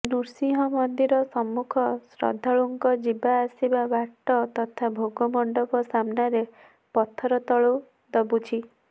ନୃସିଂହ ମନ୍ଦିର ସମ୍ମୁଖ ଶ୍ରଦ୍ଧାଳୁଙ୍କ ଯିବା ଆସିବା ବାଟ ତଥା ଭୋଗ ମଣ୍ଡପ ସାମ୍ନାରେ ପଥର ତଳୁ ଦବୁଛି